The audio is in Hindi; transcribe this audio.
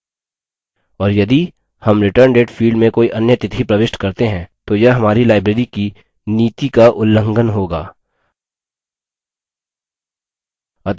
और यदि हम return date field में कोई अन्य तिथि प्रविष्ट करते हैं तो यह हमारी librarys की नीति का उलंघन होगा